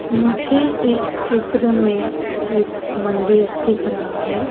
मुझे इस चित्र में एक मंदिर दिख रहा है।